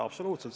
Absoluutselt!